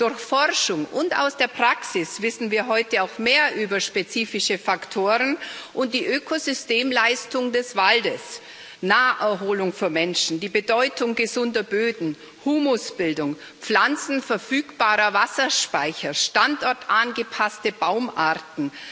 Durch Forschung und aus der Praxis wissen wir heute auch mehr über spezifische Faktoren und die Ökosystemleistung des Waldes Naherholung für Menschen, die Bedeutung gesunder Böden, Humusbildung, pflanzenverfügbarer Wasserspeicher, standortangepasste Baumarten.